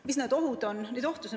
Mis need ohud on?